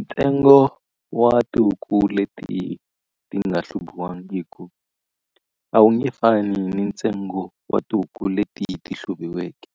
Ntsengo wa tihuku leti ti nga hluviwangiku, a wu nge fani ni ntsengo wa tihuku leti ti hluviweke.